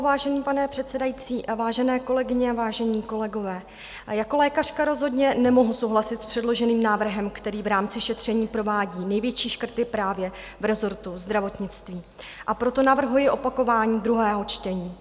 Vážený pane předsedající a vážené kolegyně a vážení kolegové, jako lékařka rozhodně nemohu souhlasit s předloženým návrhem, který v rámci šetření provádí největší škrty právě v resortu zdravotnictví, a proto navrhuji opakování druhého čtení.